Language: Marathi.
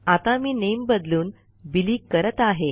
आता मी नामे बदलून बिली करत आहे